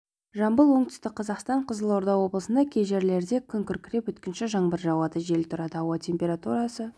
жамбыл оңтүстік қазақстан қызылорда облысында кей жерлерде күн күркіреп өткінші жаңбыр жауады жел тұрады ауа температурасы